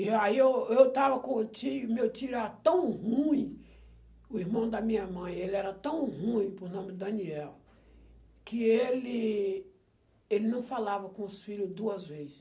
E aí eu eu estava com o tio, meu tio era tão ruim, o irmão da minha mãe, ele era tão ruim, por nome de Daniel, que ele ele não falava com os filho duas vezes.